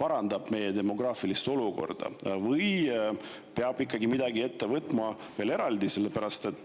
parandavad meie demograafilist olukorda või peab midagi veel eraldi ette võtma?